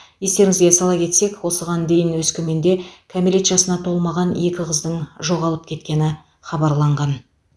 естеріңізге сала кетсек осыған дейін өскеменде кәмелет жасына толмаған екі қыздың жоғалып кеткені хабарланған